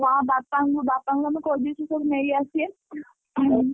ହଁ ବାପାଙ୍କୁ ବାପାଙ୍କୁ ଆମେ କହିଦେଇଛୁ ସବୁ ନେଇଆସିବେ ହୁଁ।